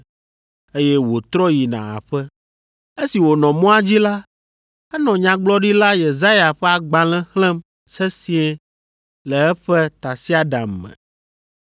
eye wòtrɔ yina aƒe. Esi wònɔ mɔa dzi la, enɔ Nyagblɔɖila Yesaya ƒe agbalẽ xlẽm sesĩe le eƒe tasiaɖam me.